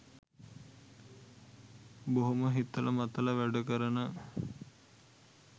බොහොම හිතල මතල වැඩ කරන